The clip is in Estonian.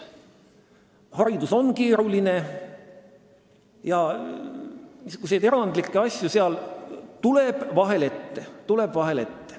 Haridus on keeruline ja erandlikke asju tuleb seal vahel ette.